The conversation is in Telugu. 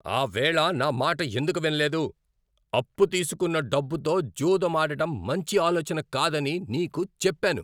ఆవేళ నా మాట ఎందుకు వినలేదు? అప్పు తీసుకున్న డబ్బుతో జూదం ఆడటం మంచి ఆలోచన కాదని నీకు చెప్పాను.